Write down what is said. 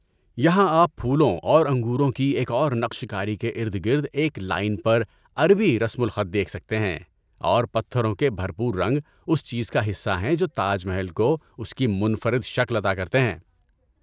یہاں آپ پھولوں اور انگوروں کی ایک اور نقش کاری کے ارد گرد ایک لائن پر عربی رسم الخط دیکھ سکتے ہیں اور پتھروں کے بھرپور رنگ اس چیز کا حصہ ہیں جو تاج محل کو اس کی منفرد شکل عطا کرتے ہیں۔